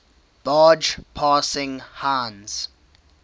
barge passing heinz